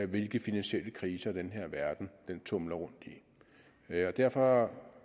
hvilke finansielle kriser den her verden vil tumle rundt i derfor